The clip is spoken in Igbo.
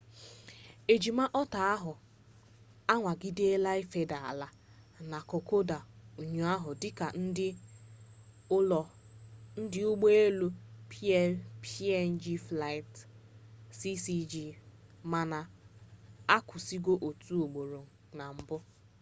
ejima otter ahụ anwagidela ifeda ala na kokoda ụnyaahụ dị ka ndị ụgbọ elu png flight cg4684 mana a kwụsigo otu ugboro na mbụ